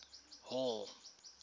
hall